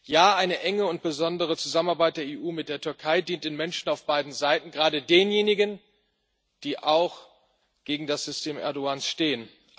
Ja, eine enge und besondere Zusammenarbeit der EU mit der Türkei, die den Menschen auf beiden Seiten dient, gerade denjenigen, die auch gegen das System Erdoğan stehen.